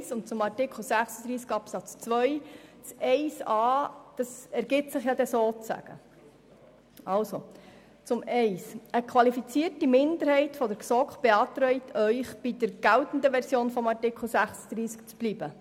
Zu Absatz 1: Eine qualifizierte Minderheit der GSoK beantragt Ihnen, bei der geltenden Version des Artikels 36 zu bleiben.